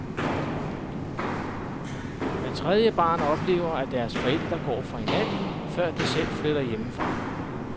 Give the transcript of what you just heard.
Hvert tredje barn oplever, at deres forældre går fra hinanden, før de selv flytter hjemmefra.